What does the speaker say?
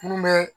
Mun bɛ